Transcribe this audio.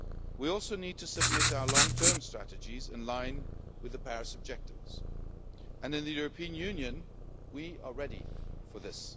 We also need to submit our long term strategies in line with the Paris objectives and in the European Union we are ready for this.